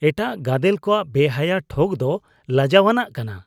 ᱮᱴᱟᱜ ᱜᱟᱫᱮᱞ ᱠᱚᱣᱟᱜ ᱵᱮᱦᱟᱭᱟ ᱴᱷᱚᱜ ᱫᱚ ᱞᱟᱡᱟᱣᱟᱱᱟᱜ ᱠᱟᱱᱟ